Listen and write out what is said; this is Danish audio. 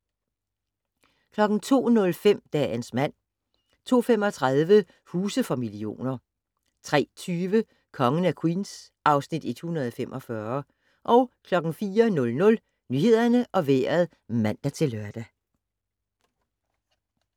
02:05: Dagens mand 02:35: Huse for millioner 03:20: Kongen af Queens (Afs. 145) 04:00: Nyhederne og Vejret (man-lør)